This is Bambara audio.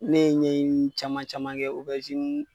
Ne ye ɲɛni caman caman kɛ